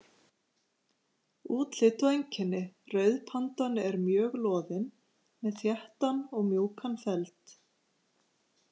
Útlit og einkenni Rauðpandan er mjög loðin með þéttan og mjúkan feld.